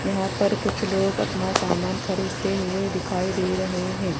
यहां पर कुछ लोग अपना सामान खरीदते हुए दिखाई दे रहे हैं।